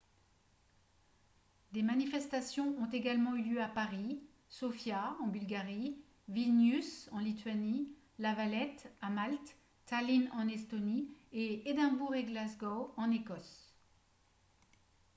des manifestations ont également eu lieu à paris sofia en bulgarie vilnius en lituanie la valette à malte tallinn en estonie et édimbourg et glasgow en écosse